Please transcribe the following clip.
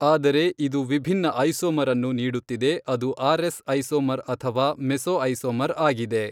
ಆದರೆ ಇದು ವಿಭಿನ್ನ ಐಸೋಮರ್ ಅನ್ನು ನೀಡುತ್ತಿದೆ ಅದು ಆರ್ ಎಸ್ ಐಸೋಮರ್ ಅಥವಾ ಮೆಸೊಐಸೋಮರ್ ಆಗಿದೆ.